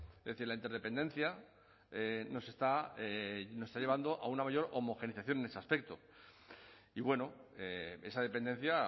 es decir la interdependencia nos está llevando a una mayor homogeneización en ese aspecto y bueno esa dependencia